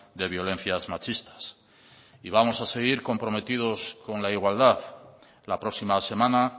de violencias machistas y vamos a seguir comprometidos con la igualdad la próxima semana